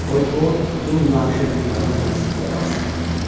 Qoy o, bu münaqişə qurtarana qədər sizdə qalsın.